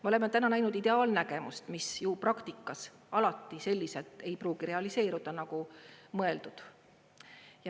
Me oleme täna näinud ideaalnägemust, mis ju praktikas alati selliselt ei pruugi realiseeruda, nagu mõeldud.